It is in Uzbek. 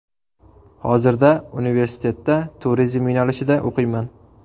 Hozirda universitetda turizm yo‘nalishida o‘qiyman.